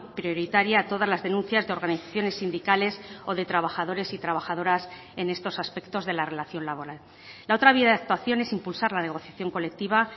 prioritaria a todas las denuncias de organizaciones sindicales o de trabajadores y trabajadoras en estos aspectos de la relación laboral la otra vía de actuación es impulsar la negociación colectiva